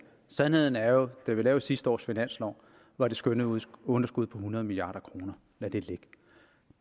sandheden er jo at da vi lavede sidste års finanslov var det skønnede underskud på hundrede milliard kroner lad det ligge